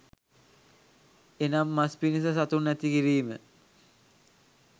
එනම් මස් පිණිස සතුන් ඇති කිරීම